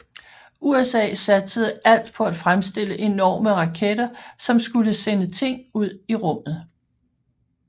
USA satsede alt på at fremstille enorme raketter som skulle sende ting ud i rummet